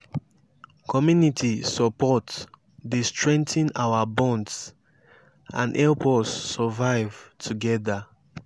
community support dey strengthen our bonds and help us survive together.